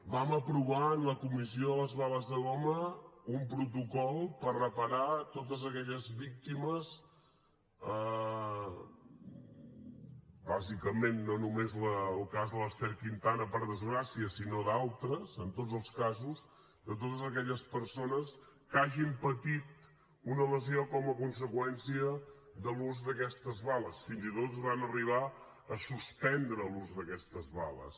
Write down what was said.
vam aprovar en la comissió de les bales de goma un protocol per reparar totes aquelles víctimes bàsicament no només el cas de l’ester quintana per desgràcia sinó d’altres en tots els casos de totes aquelles persones que hagin patit una lesió com a conseqüència de l’ús d’aquestes bales fins i tot es va arribar a suspendre l’ús d’aquestes bales